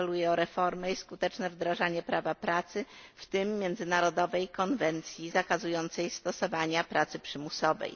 Apeluję o reformy i skuteczne wdrażanie prawa pracy, w tym międzynarodowej konwencji zakazującej stosowania pracy przymusowej!